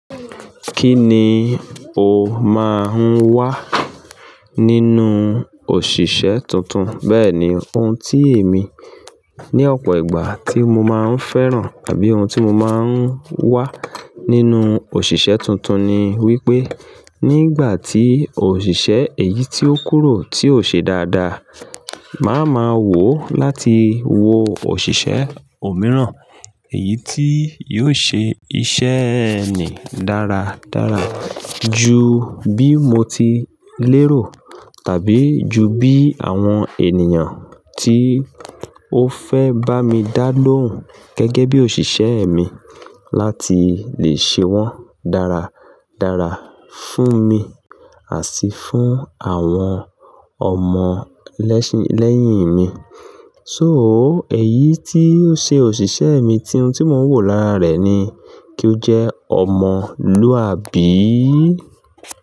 Kí ni o máa ń wá nínú òṣìṣẹ́ tuntun? Bẹ́ẹ̀ni, ohun tí èmi ní ọ̀pọ̀ ìgbà tí mo máa ń fẹ́ràn àbí ohun tí mo máa ń wá nínú òṣìṣẹ́ tuntun ni wípé nígbà tí òṣìṣẹ́ èyí tí ó kúrò tí ò ṣe dáadáa, màá ma wò láti wo òṣìṣẹ́ òmíràn èyí tí yóò ṣe iṣẹ́ ẹni dáradára ju bí mo ti lérò tàbí ju bí àwọn ènìyàn tí ó fẹ́ bá mi dá lóhùn gẹ́gẹ́ bí òṣìṣẹ́ mi láti lè ṣe wọ́n dáradára fún mi àti fún àwọn ọmọ lẹ́yìn mi. So ó, èyí tí ó ṣe òṣìṣẹ́ mi tí ohun tí mò ń wò lára rẹ̀ ni kí ó jẹ́ ọmọlúàbí.